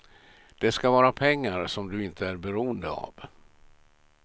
Det ska vara pengar som du inte är beroende av.